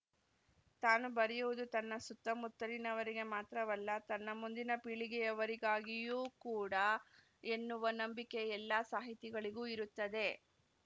ತಾನು ಬರೆಯುವುದು ತನ್ನ ಸುತ್ತಮುತ್ತಲಿನವರಿಗೆ ಮಾತ್ರವಲ್ಲ ತನ್ನ ಮುಂದಿನ ಪೀಳಿಗೆಯವರಿಗಾಗಿಯೂ ಕೂಡ ಎನ್ನುವ ನಂಬಿಕೆ ಎಲ್ಲಾ ಸಾಹಿತಿಗಳಿಗೂ ಇರುತ್ತದೆ